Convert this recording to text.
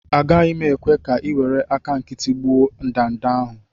Agaghị m ekwe ka ị were aka nkịtị gị gbuo ndanda ahụ